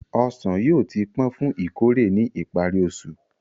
Ọsàn yóò ti pọ́n fún ìkórè ní ìparí oṣù.